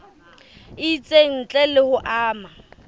itseng ntle le ho ama